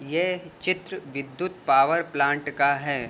ये चित्र विद्युत पॉवर प्लांट का है।